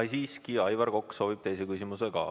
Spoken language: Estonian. Aga siiski, Aivar Kokk soovib esitada teise küsimuse ka.